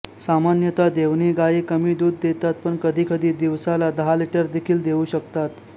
सामान्यतः देवणी गाई कमी दूध देतात पण कधीकधी दिवसाला दहा लिटर देखील देऊ शकतात